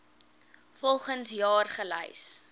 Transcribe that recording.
volgens jaar gelys